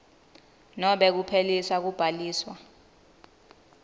nobe kuphelisa kubhaliswa